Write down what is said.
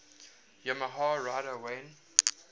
yamaha rider wayne